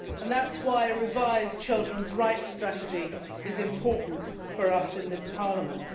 That is why a revised Children's Rights Strategy is important for us in this Parliament.